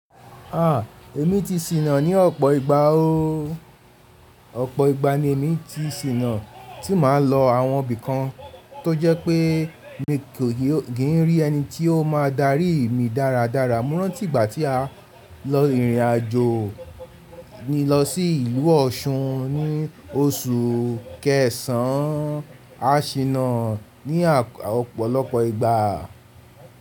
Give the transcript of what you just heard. À, èmi ti ṣìnà ní ọ̀pọ̀ ìgbà o. Ọ̀pọ̀ ìgbà ni èmi ti ṣìnà tí màá ń lọ àwọn ibì kan tó jẹ́ pé mi kò kì ń rí ẹni tí ó máa darí mi dáradára. Mo rántí ìgbà tí a lọ ìrìnàjò ni lọsí ìlú Ọ̀ṣun ní oṣù kẹsàn án. A ṣìnà ní ọ̀pọ̀lọpọ̀ ìgbà.